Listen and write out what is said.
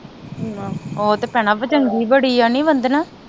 ਆਹੋ ਉਹ ਤੇ ਭੈਣਾਂ ਚੰਗੀ ਬੜੀ ਈ ਆ ਨੀ ਵੰਧਨਾ